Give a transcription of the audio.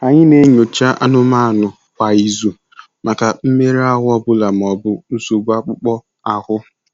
Anyị na-enyocha anụmanụ kwa izu maka mmerụ ahụ ọ bụla ma ọ bụ nsogbu akpụkpọ ahụ.